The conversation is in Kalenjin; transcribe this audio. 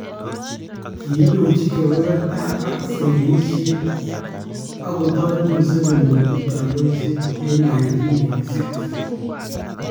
Kiindochi kobebertab ak sekeyiishet ak kotareet Museveni kochuut kandoiset en 1986